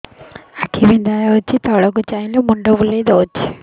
ଆଖି ବିନ୍ଧା ହଉଚି ତଳକୁ ଚାହିଁଲେ ମୁଣ୍ଡ ବୁଲେଇ ଦଉଛି